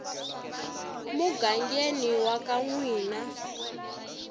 mugangeni wa ka n wina